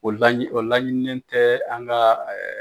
O la o laɲininen tɛ an ka .